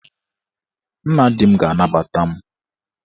Nna di m ga-anabata m.